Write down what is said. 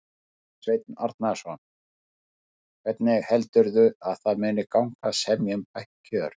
Sveinn Arnarson: Hvernig heldurðu að það muni gangi að semja um bætt kjör?